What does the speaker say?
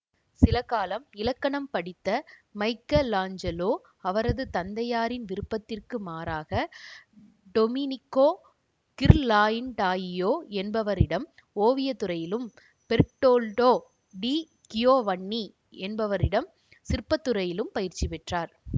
சிலகாலம் இலக்கணம் படித்த மைக்கலாஞ்சலோ அவரது தந்தையாரின் விருப்பத்துக்கு மாறாக டொமினிக்கோ கிர்லாயிண்டாயியோ என்பவரிடம் ஓவியத்துறையிலும் பெர்ட்டோல்டோ டி கியோவன்னி என்பவரிடம் சிற்பத்துறையிலும் பயிற்சி பெற்றார்